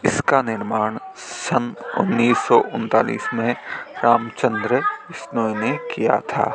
इसका निर्माण सन उन्नीस सौ उन्तालीस में रामचंद्र बिश्नोई ने किया था।